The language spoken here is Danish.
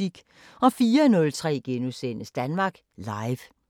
04:03: Danmark Live *